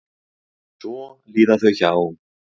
Svo líða þau hjá.